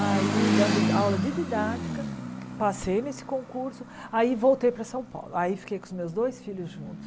aí dando aula de didática, passei nesse concurso, aí voltei para São Paulo, aí fiquei com os meus dois filhos juntos.